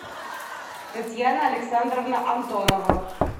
татьяна александровна антонова